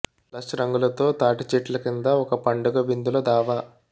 lush రంగులతో తాటి చెట్ల కింద ఒక పండుగ విందుల దావా